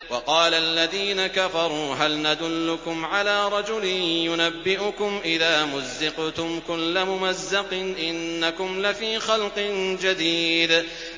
وَقَالَ الَّذِينَ كَفَرُوا هَلْ نَدُلُّكُمْ عَلَىٰ رَجُلٍ يُنَبِّئُكُمْ إِذَا مُزِّقْتُمْ كُلَّ مُمَزَّقٍ إِنَّكُمْ لَفِي خَلْقٍ جَدِيدٍ